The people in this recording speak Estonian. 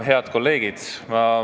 Head kolleegid!